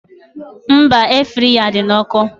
Mba, Air fraya dị na ọkụ